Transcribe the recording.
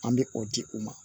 An bɛ o di u ma